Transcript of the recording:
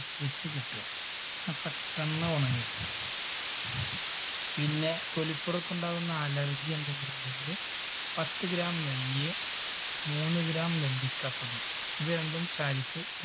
ച്ച് വെച്ച് കെട്ടുക. എന്നാൽ പെട്ടെന്ന് ഉണങ്ങി കിട്ടും പിന്നെ തൊലിപ്പുറത്ത് ഉണ്ടാകുന്ന അലർജി എന്തെങ്കിലും ഉണ്ടെങ്കില് പത്ത് gram നെയ്യ് മൂന്ന് gram നെല്ലിക്കപ്പൊടി ഇവ രണ്ടും ചാലിച്ച്